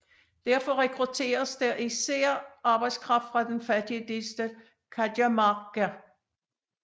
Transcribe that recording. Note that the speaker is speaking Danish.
Derfor rekrutteres der især arbejdskraft fra den fattige delstat Cajamarca